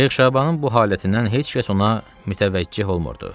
Şeyx Şabanın bu halətindən heç kəs ona mütəvəccüh olmurdu.